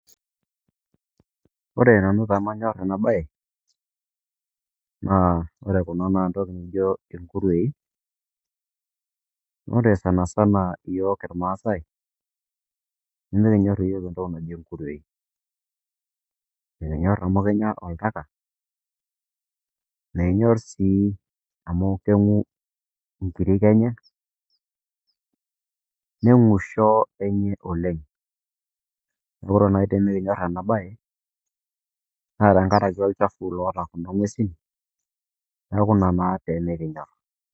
Ore nanu pemanyorr ena baye naa ore kuna naa entoki nijo enkuruwei, naa ore sana sana yppk ilmaasai nimikinyorr yook entoki naji inkurruwei, nikinyorr amu kenyaa oltaka, mikinyorr sii amu keng'u inkirrik enye, neng'u ishoo enye oleng, naaku ore naai tinimikinyorr ena baye naa tengaraki olchafu loota kuna ing'uesin naaku nena naake pemikinyorr.